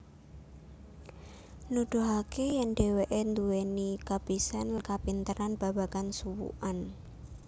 Nuduhake yen dheweke duweni kabisan lan kapinteran babagan suwukan